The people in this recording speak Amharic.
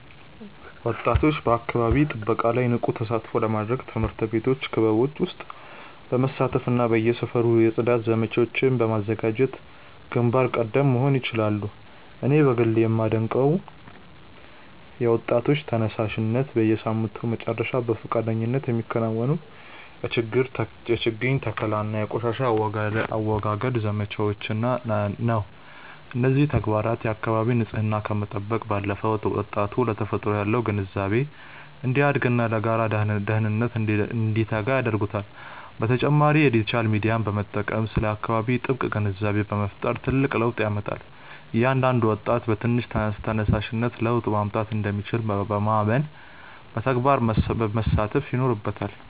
ወጣቶች በአካባቢ ጥበቃ ላይ ንቁ ተሳትፎ ለማድረግ በትምህርት ቤት ክበቦች ውስጥ በመሳተፍና በየሰፈሩ የጽዳት ዘመቻዎችን በማዘጋጀት ግንባር ቀደም መሆን ይችላሉ። እኔ በግሌ የማደንቀው የወጣቶች ተነሳሽነት፣ በየሳምንቱ መጨረሻ በፈቃደኝነት የሚከናወኑ የችግኝ ተከላና የቆሻሻ አወጋገድ ዘመቻዎችን ነው። እነዚህ ተግባራት የአካባቢን ንፅህና ከመጠበቅ ባለፈ፣ ወጣቱ ለተፈጥሮ ያለው ግንዛቤ እንዲያድግና ለጋራ ደህንነት እንዲተጋ ያደርጉታል። በተጨማሪም የዲጂታል ሚዲያን በመጠቀም ስለ አካባቢ ጥበቃ ግንዛቤ መፍጠር ትልቅ ለውጥ ያመጣል። እያንዳንዱ ወጣት በትንሽ ተነሳሽነት ለውጥ ማምጣት እንደሚችል ማመንና በተግባር መሳተፍ ይኖርበታል።